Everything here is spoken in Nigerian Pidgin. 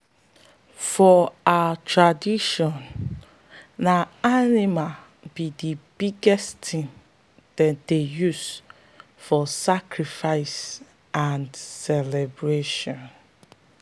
for our tradition na animal be the biggest thing them dey use for sacrifice and celebration.